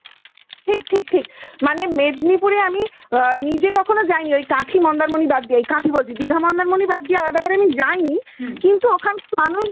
ঠিক ঠিক মানে মেদনীপুরে আমি নিজে কখনো যাইনি, ওই কাঁথি মন্দারমনি বাদ দিয়ে বলছি দীঘা মন্দারমনি বাদ দিয়ে আলাদা করে আমি যাইনি কিন্তু ওখান আমি